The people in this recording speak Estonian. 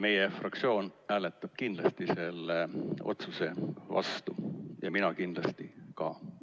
Meie fraktsioon hääletab kindlasti selle otsuse vastu ja mina kindlasti ka.